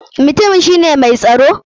Mutumin shi ne mai tsaro?